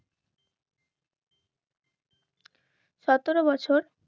সতেরো বছর